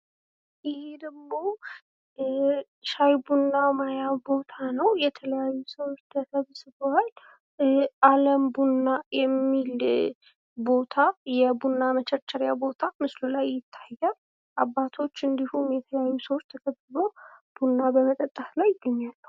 ይህ ደሞ ሻይ ቡና መባያ ቦታ ነው ፤ የተለያዩ ሰዎች ተሰብስበዋል ፤ አለም ቡና የሚል የቡና መቸርቸሪያ ቦታ ምስሉ ላይ ይታያል ፤ አባቶች ተሰብስበው ቡና በመጠጣት ላይ ይገኛሉ።